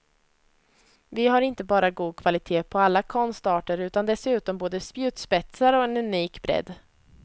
Vi har inte bara god kvalitet på alla konstarter utan dessutom både spjutspetsar och en unik bredd.